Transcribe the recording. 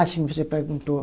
Ah, sim, você perguntou.